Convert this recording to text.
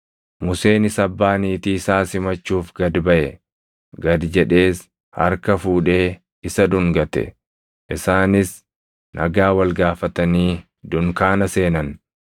Museenis abbaa niitii isaa simachuuf gad baʼe; gad jedhees harka fuudhee isa dhungate. Isaanis nagaa wal gaafatanii dunkaana seenan.